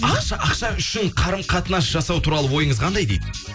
ақша үшін қарым қатынас жасау туралы ойыңыз қандай дейді